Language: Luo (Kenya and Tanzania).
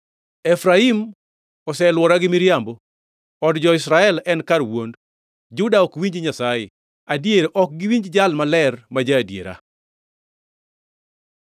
Efraim oselwora gi miriambo, od jo-Israel en kar wuond. Juda ok winj Nyasaye; adier ok giwinj Jal Maler ma ja-adiera.